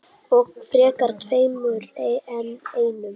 Og frekar tveimur en einum.